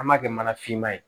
An b'a kɛ mana finma ye